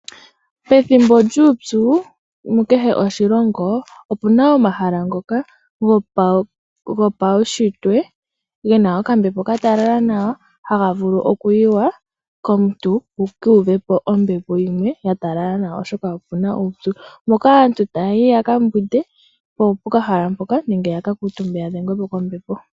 Pethimbo lyuupyu moshilongo kehe omuna omahala ngoka gopaushitwe gena okambwepo ka talala nawa haga vulu okuyiwa komuntu wula uvepo ombepo yimwe ya talala nawa oshoka okuna uupyu moka aantu ta yayi yakambwinde pokahala mpoka nenge tayayi yaka uve ombepo.